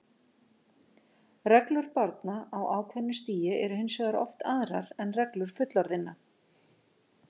Reglur barna á ákveðnu stigi eru hins vegar oft aðrar en reglur fullorðinna.